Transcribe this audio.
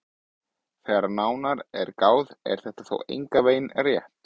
Þegar nánar er að gáð er þetta þó engan veginn rétt.